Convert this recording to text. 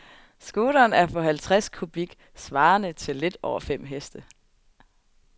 Scooteren er på halvtreds kubik, svarende til lidt over fem heste.